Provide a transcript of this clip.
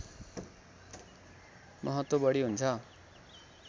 महत्त्व बढी हुन्छ